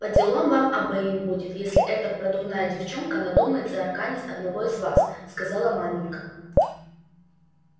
поделом вам обоим будет если эта продувная девчонка надумает арканить одного из вас сказала маменька